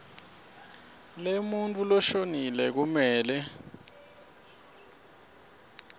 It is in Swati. lemuntfu loshonile kumele